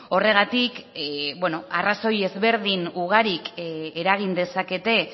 horregatik arrazoi ezberdin ugarik eragin dezakete